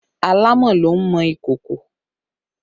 Àlámọ̀ ló ń mọ ìkòkò